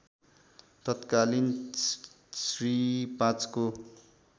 तत्कालीन श्री ५ को